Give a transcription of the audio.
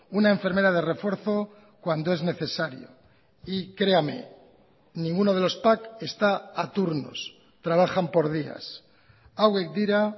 una enfermera de refuerzo cuando es necesario y créame ninguno de los pac está a turnos trabajan por días hauek dira